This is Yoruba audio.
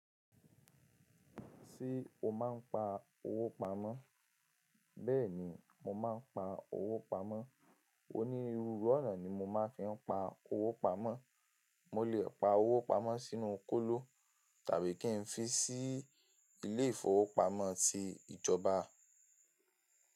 Ṣé o máa ń pa owó pamọ́? Bẹ́ẹ̀ni, mo máa ń pa owó pamọ́. Onírúurú ọ̀nà ni mo máa fi ń pa owó pamọ́. Mo lè pa owó pamọ́ sínú kóló, tàbí kí n fi sí ilé ìfowópamọ́ ti ìjọba.